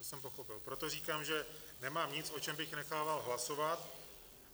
To jsem pochopil, proto říkám, že nemám nic, o čem bych nechával hlasovat.